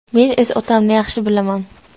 Men o‘z otamni yaxshi bilaman.